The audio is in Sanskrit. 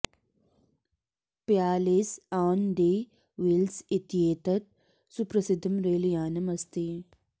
प्यालेस् आन् दि व्हील्स् इत्येतत् सुप्रसिद्धं रैलयानम् अस्ति